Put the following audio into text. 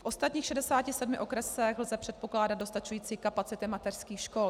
V ostatních 67 okresech lze předpokládat dostačující kapacity mateřských škol.